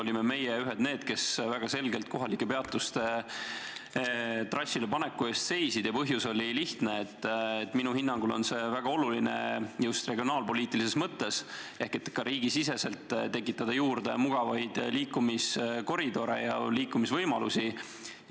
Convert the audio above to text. Meie olime ühed neist, kes väga selgelt kohalike peatuste trassile paneku eest seisid, ja põhjus oli lihtne: minu hinnangul on väga oluline just regionaalpoliitilises mõttes, et ka riigisiseselt tekitataks juurde mugavaid liikumiskoridore ja liikumisvõimalusi.